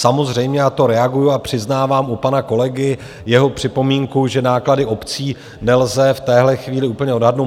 Samozřejmě, a to reaguji a přiznávám u pana kolegy jeho připomínku, že náklady obcí nelze v téhle chvíli úplně odhadnout.